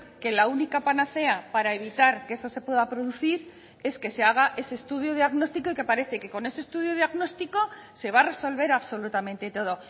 que la única panacea para evitar que eso se pueda producir es que se haga ese estudio diagnóstico y que parece que con ese estudio diagnóstico se va a resolver absolutamente todo